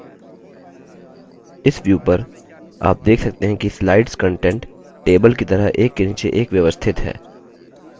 इस view में आप देख सकते हैं कि slides contents table की तरह एक के नीचे एक व्यवस्थित हैं